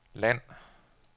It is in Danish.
land